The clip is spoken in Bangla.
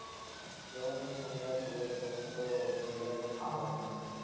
যখন তুমি সংসারে পরে যাবে তখন তো ও তুমি এরকম ভাবে যেতে পারবে না।